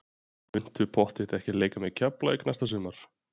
Muntu pottþétt ekki leika með Keflavík næsta sumar?